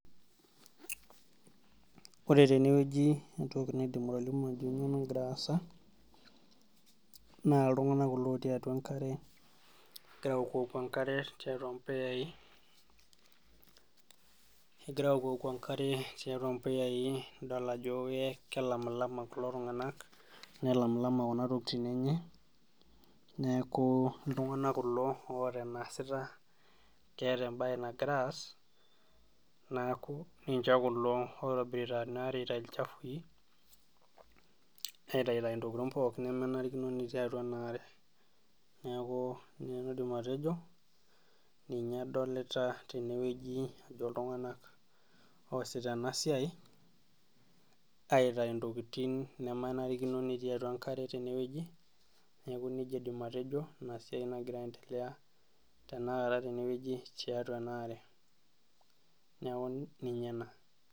Ore tenewueji entoki naidim atolimu ajo kanyioo nagira aasa, naa iltung'anak kulo otii atua enkare, egira aokuoku enkare tiatua mpuyai, egira aokuoku enkare tiatua mpuyai idol ajo kelamlama kulo tung'anak, nelamlama kuna tokiting enye, neeku iltung'anak kulo oota eneesita, keeta ebae nagira aas, naku ninche kulo oitobirita enare aitayu ilchafui, naitayutayu intokiting pookin nemenarikino netii atua enaare. Neeku ina nanu aidim atejo, ninye adolita tenewueji ajo iltung'anak oosita enasiai, aitayu intokiting nemenarikino netii atua enkare tenewueji, neeku nejia aidim atejo, inasiai nagira aendelea tanakata tenewueji, tiatua enaare. Neeku ninye ena.